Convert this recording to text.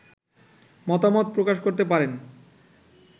মতামত প্রকাশ করতে পারেন